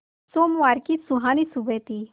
सोमवार की सुहानी सुबह थी